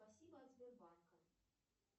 спасибо от сбербанка